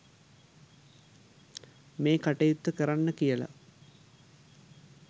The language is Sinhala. මේ කටයුත්ත කරන්න කියලා